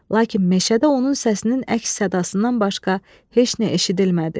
Lakin meşədə onun səsinin əks sədasından başqa heç nə eşidilmədi.